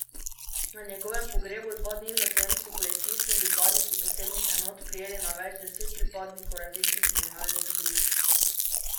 Na njegovem pogrebu dva dni zatem so policisti in pripadniki posebnih enot prijeli na več deset pripadnikov različnih kriminalnih združb.